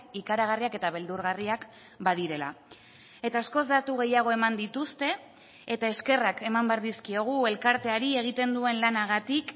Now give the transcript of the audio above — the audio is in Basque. ikaragarriak eta beldurgarriak badirela eta askoz datu gehiago eman dituzte eta eskerrak eman behar dizkiogu elkarteari egiten duen lanagatik